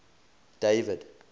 david